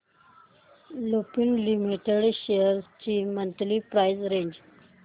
Lupin limited shares ची monthly price range